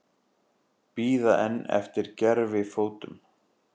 Bíða enn eftir gervifótum